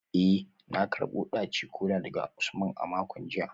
Eh na karbo daci-kola daga Usman a makon jiya